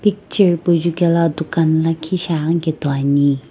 picture hipau jukela dukan lakhi shi aghi kepu toi ani.